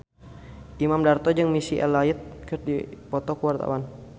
Imam Darto jeung Missy Elliott keur dipoto ku wartawan